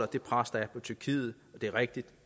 det pres der er på tyrkiet det er rigtigt